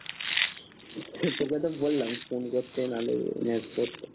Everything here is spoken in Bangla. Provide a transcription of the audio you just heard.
তোকে তো বললাম ফোন করতে নালে করতে